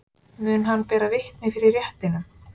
Mun hann bera vitni fyrir réttinum